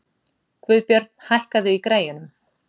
Guðbjörn, hækkaðu í græjunum.